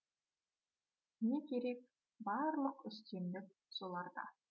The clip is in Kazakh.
не керек барлық үстемдік соларда